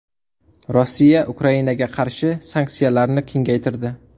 Rossiya Ukrainaga qarshi sanksiyalarni kengaytirdi.